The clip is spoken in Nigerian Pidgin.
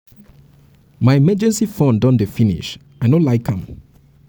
my emergency fund don dey fund don dey finish and i no like am